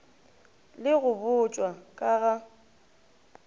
le go botšwa ka ga